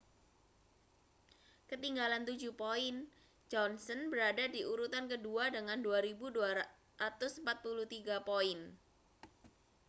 ketinggalan tujuh poin johnson berada di urutan kedua dengan 2.243 poin